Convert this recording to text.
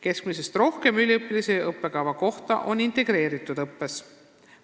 Keskmisest rohkem üliõpilasi õppekava kohta on integreeritud õppes.